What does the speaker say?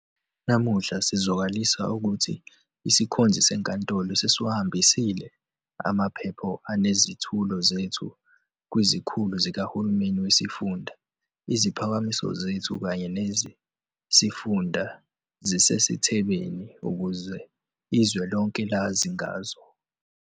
Namuhla sizwakalisa ukuthi isikhonzi senkantolo sesiwahambisile amaphepha anezethulo zethu kwizikhulu zikahulumeni wesifunda. Iziphakamiso zethu kanye neze sifunda zisezithebeni ukuze izwe lonke lazi ngazo.